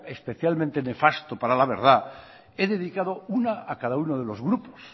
especialmente nefasto para la verdad he dedicado una a cado uno de los grupos